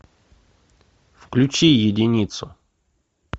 включи единицу